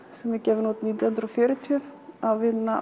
sem var gefin út nítján hundruð og fjörutíu af